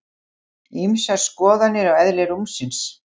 Ýmsar skoðanir á eðli rúmsins